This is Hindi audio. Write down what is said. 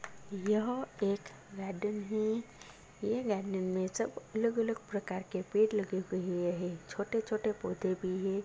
यह एक गार्डेन है। यह गार्डेन में सब अलग-अलग प्रकार के पेड़ लगे हुए हैं छोटे-छोटे पौधे भी है।